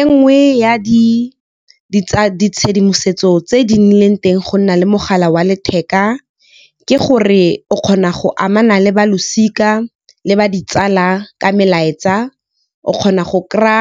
E nngwe ya ditshedimosetso tse di nnileng teng go nna le mogala wa letheka, ke gore o kgona go amana le balosika le ba ditsala ka melaetsa. O kgona go kry-a